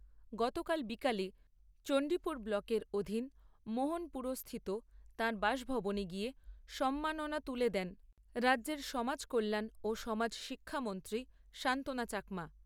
গতকাল বিকেলে চণ্ডীপুর ব্লকের অধীন মোহনপুরস্থিত তাঁর বাসভবনে গিয়ে সম্মাননা তুলে দেন রাজ্যের সমাজকল্যাণ ও সমাজ শিক্ষামন্ত্রী সান্ত্বনা চাকমা।